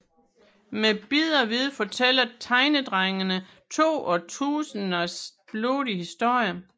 Med bid og vid fortæller Tegnedrengene to årtusinders blodige historie